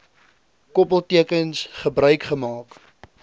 koppeltekens gebruik gemaak